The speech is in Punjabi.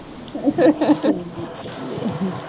।